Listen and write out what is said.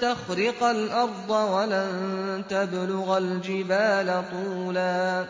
تَخْرِقَ الْأَرْضَ وَلَن تَبْلُغَ الْجِبَالَ طُولًا